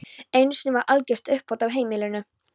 Einu sinni varð algert uppþot á heimilinu.